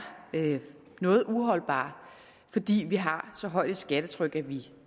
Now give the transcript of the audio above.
noget uholdbar fordi vi har så højt et skattetryk at vi